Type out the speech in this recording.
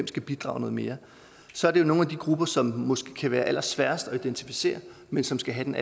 skal bidrage noget mere så er det nogle af de grupper som måske kan være allersværest at identificere men som skal have den